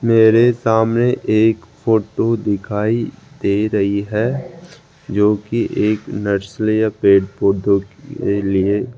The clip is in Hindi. मेरे सामने एक फोटो दिखाई दे रही है जो की एक नर्सरी या पेड़ पौधों के लिए --